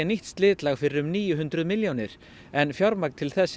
slitlagi fyrir níu hundruð milljónir en fjármagn til þess